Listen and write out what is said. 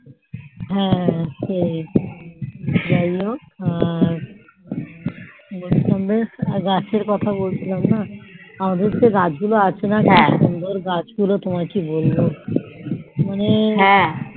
হ্যাঁ সেই যাই হোক গাছের কথা বলছিলাম না গাছ গুলো আছে সুন্দর গাছ গুলো তোমায় কি বলবো মনের মতো